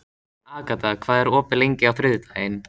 Agata, hvað er opið lengi á þriðjudaginn?